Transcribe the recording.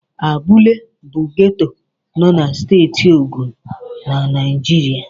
Abúlé bụ geto nọ na Steeti Ogun na Naijiria.